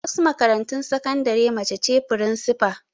A wasu makarantun sakandare mace ce firinsifa.